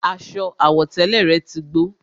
Aṣọ àwọ̀tẹ́lẹ̀ rẹ̀ tí gbó